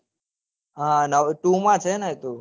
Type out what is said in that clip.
two માં છેને એતો